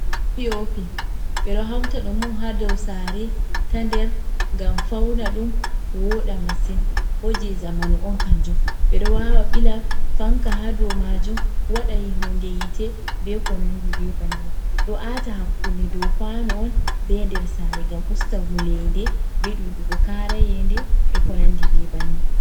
pi o pi ɓeɗo hauta ɗum ha dou saare ta nder ngam fauna ɗum woɗa masin bo je zamanu on kanjum, ɓeɗo wawa ɓila fanka ha ɗo majum waɗa hunde yite be ko nandi be banni, ɗo ata hakkunde dou kwano on be nder sare ngam usta wulende be ɗuɗugo kara yende be ko nandi be bannin.